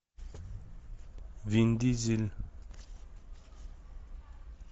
вин дизель